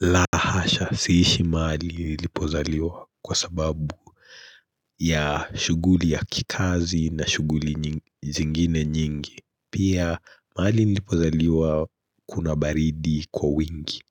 Lahasha siishi mahali nilipozaliwa kwa sababu ya shuguli ya kikazi na shuguli zingine nyingi Pia mahali nilipozaliwa kuna baridi kwa wingi